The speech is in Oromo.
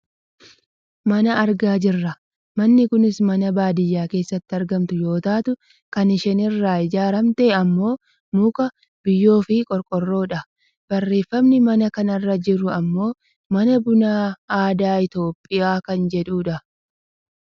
Mana argaa jirra. Manni kunis mana baadiyyaa keessatti argamtu yoo taatu kan isheen Irraa ijaarramte ammoo muka, biyyoofi qorqoorroodha. Barreeffamni mana kana irra jiru ammoo " mana bunaa aadaa Itoopiyaa "kan jedhudha.